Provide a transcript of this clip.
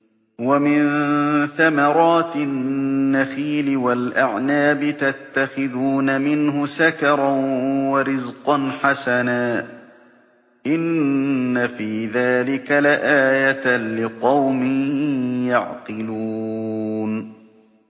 وَمِن ثَمَرَاتِ النَّخِيلِ وَالْأَعْنَابِ تَتَّخِذُونَ مِنْهُ سَكَرًا وَرِزْقًا حَسَنًا ۗ إِنَّ فِي ذَٰلِكَ لَآيَةً لِّقَوْمٍ يَعْقِلُونَ